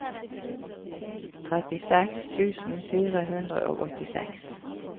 trettiseks tusen fire hundre og åttiseks